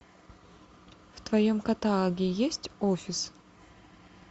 в твоем каталоге есть офис